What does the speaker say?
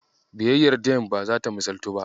Biyayyar Dembe ba zata misalaltu ba.